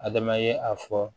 Adama ye a fɔ